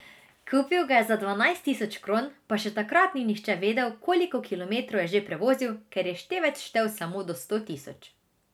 Kupil ga je za dvanajst tisoč kron, pa še takrat ni nihče vedel, koliko kilometrov je že prevozil, ker je števec štel samo do sto tisoč.